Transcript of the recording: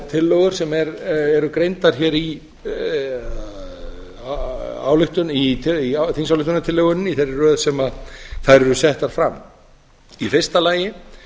tillögur sem eru greindar hér í þingsályktunartillögunni í þeirri röð sem þær eru settar fram í fyrsta lagi